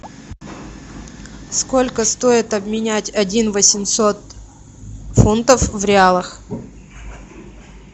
сколько стоит обменять один восемьсот фунтов в реалах